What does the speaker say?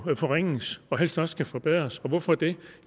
forringes og helst også skal forbedres og hvorfor det